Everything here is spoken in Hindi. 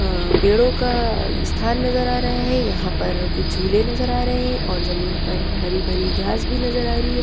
पेड़ों का स्थान नजर आ रहा है यहां पर कुछ झूले नजर आ रहे हैं और जमीन पर हरी भरी घास भी नजर आ रही है।